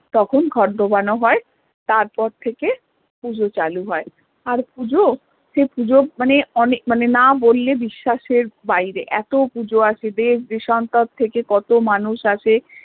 তখন ঘট ডোবানো হয় তারপর থেকে পুজো চালু হয় আর পুজো সে পুজো মানে অনেক মানে না বললে বিশ্বাস এর বাইরে এত পুজো দেশ দেশান্তরে থেকে কত মানুষ আসে